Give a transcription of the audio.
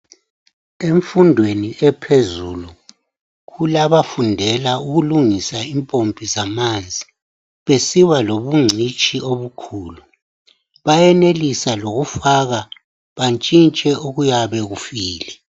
Emfundweni ephezulu kulabafundela ukulungisa impompi zamanzi, besiba lobungcitshi obukhulu. Bayenelisa lokufaka bantshintshe okuyabe kufile.